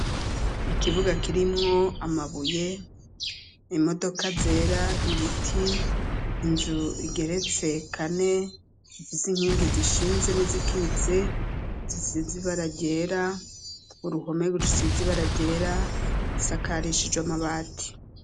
Ikibuga kirimwo amabuye , imodoka zera, ibiti , inzu igeretse kane, ifis'inkingi zishinze n'izikitse, zisize ibara ryera , uruhome rusiz'ibara ryera , isakarishije amabati.